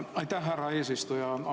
Aitäh, härra eesistuja!